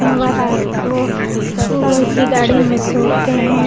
यहां पर रात को बहुत सी गाड़ी मिस होते हैं।